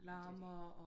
Det er jo det